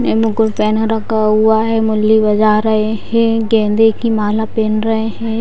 ने मुकुट पहन रखा है मुरली बजा रहे हैं गेंदे की माला पहन रहे है।